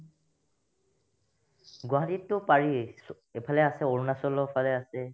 গুৱাহাটীতো পাৰি চো ইফালে আছে অৰুণাচলৰ ফালে আছে